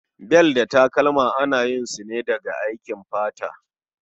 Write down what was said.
Bel da takalma ana yin su ne daga aikin fata